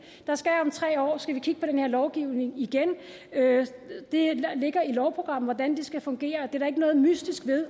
om tre år skal vi kigge på den her lovgivning igen det ligger i lovprogrammet hvordan det skal fungere og der er overhovedet ikke noget mystisk ved